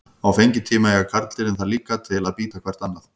Á fengitíma eiga karldýrin það líka til að bíta hvert annað.